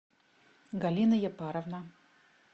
галина япаровна